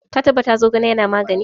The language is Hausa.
Ka tabbata Zogale yana magani?